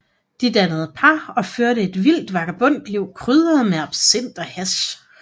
De dannede par og førte et vildt vagabondliv krydret med absint og hash